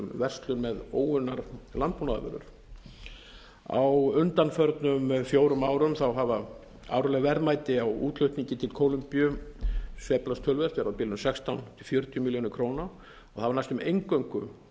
verslun með óunnar landbúnaðarvörur á undanförnum fjórum árum hafa árleg verðmæti á útflutningi til kólumbíu sveiflast töluvert eru á bilinu sextán til fjörutíu milljónir króna og hafa næstum eingöngu